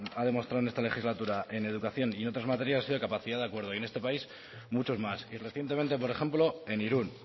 ha demostrado en esta legislatura en educación y en otras materias ha sido capacidad de acuerdo y en este país muchos más y recientemente por ejemplo en irún